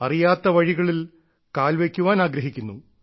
അറിയാത്ത വഴികളിൽ കാൽ വയ്ക്കാൻ ആഗ്രഹിക്കുന്നു